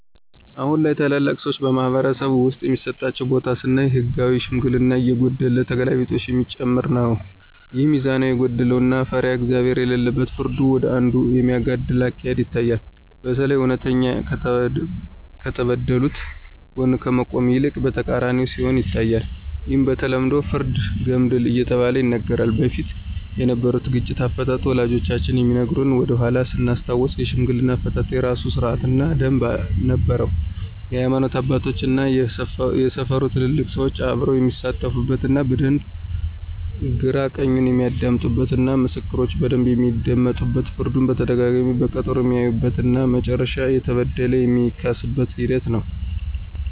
አሁን ላይ ታላላቅ ሰዎች በማኅበረሰብ ውስጥ የሚሰጣቸው ቦታ ስናይ ህጋዊ ሽምግልና እየጎደለ ተገላቢጦሽ የሚጨመር ነው። ይህም ሚዛናዊነት የጎደለው እና ፈሪሃ እግዚአብሄር የሌለበት ፍርዱ ወደ አንዱ የሚያጋድል አካሄድ ይታያል። በተለይ እውነተኛ ከተበደሉት ጎን ከመቆም ይልቅ በተቃራኒው ሲሆን ይታያል። ይህም በተለምዶ ፍርደ ገምድል እየተባለ ይነገራል። በፊት የነበሩት ግጭት አፈታት ወላጆቻችን ከሚነግሩን ወደኃላ ስናስታውስ የሽምግልና አፈታት የራሱ ስርአት እና ደምብ ነበረው የሀይማኖት አባቶች እና የሰፈሩ ትልልቅ ሰዎች አብረው የሚሳተፉበት እና በደንብ ግራ ቀኙን የሚያደምጡበት እና ምስክሮች በደንብ የሚደመጡበት ፍርዱን በተደጋጋሚ በቀጠሮ የሚያዩበት እና መጨረሻም የተበደለ የሚካስበት ሂደት ነው።